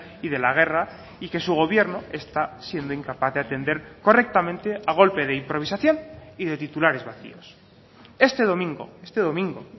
y de la guerra y que su gobierno está siendo incapaz de atender correctamente a golpe de improvisación y de titulares vacíos este domingo este domingo